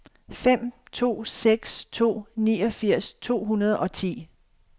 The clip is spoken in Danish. fem to seks to niogfirs to hundrede og ti